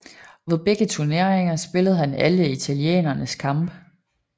Ved begge turneringer spillede han alle italienernes kampe